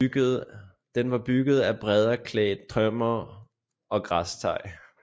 Den var bygget af bræddeklædt tømmer og græstag